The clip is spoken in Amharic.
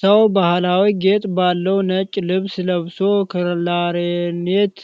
ሰው ባህላዊ ጌጥ ባለው ነጭ ልብስ ለብሶ ክላርኔት